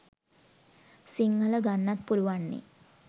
සිංහල ගන්නත් පුළුවන් නෙ.